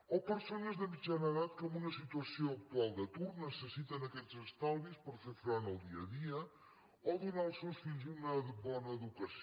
o persones de mitjana edat que en una situació actual d’atur necessiten aquests estalvis per fer front al dia a dia o donar als seus fills una bona educació